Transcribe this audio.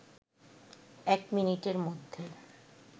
১ মিনিটের মধ্যে